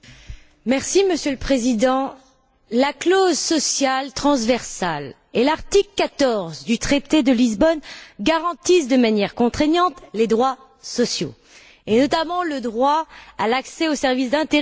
Monsieur le Président, la clause sociale transversale et l'article 14 du traité de Lisbonne garantissent de manière contraignante les droits sociaux et, notamment, le droit à l'accès aux services d'intérêt général.